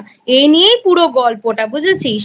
এই নিয়েই পুরো গল্পটাবুঝেছিস?